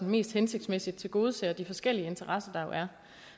mest hensigtsmæssigt tilgodeser de forskellige interesser der jo er